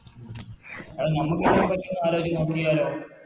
എടാ നമുക്കിതിനെപ്പറ്റി ഒന്ന് ആലോചിച്ച് നോക്കിയാലോ